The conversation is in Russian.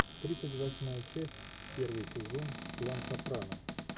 тридцать восьмая часть первый сезон клан сопрано